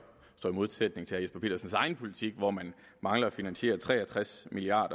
i modsætning til herre jesper petersens egen politik hvor man mangler at finansiere tre og tres milliard